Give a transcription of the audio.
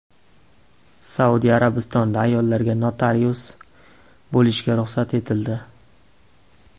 Saudiya Arabistonida ayollarga notarius bo‘lishga ruxsat etildi.